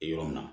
Yɔrɔ min na